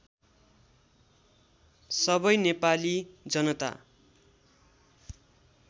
सबै नेपाली जनता